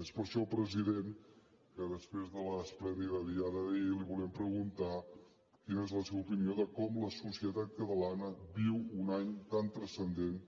és per això president que després de l’esplèndida diada d’ahir li volem preguntar quina és la seva opinió de com la societat catalana viu un any tan transcendent